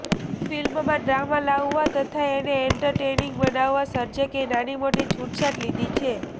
ફિલ્મમાં ડ્રામા લાવવા તથા એને એન્ટરટેનિંગ બનાવવા સર્જકે નાનીમોટી છૂટછાટ લીધી છે